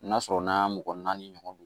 N'a sɔrɔ n'a mɔgɔ naani ɲɔgɔn don